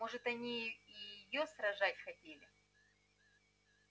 может они и её сражать хотели